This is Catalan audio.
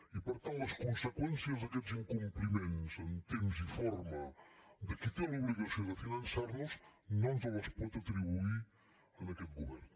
i per tant les conseqüències d’aquests incompliments en temps i forma de qui té l’obligació de finançar nos no ens les pot atribuir a aquest govern